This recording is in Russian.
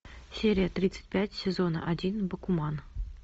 серия тридцать пять сезона один бакуман